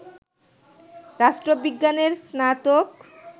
রাষ্ট্রবিজ্ঞানে স্নাতক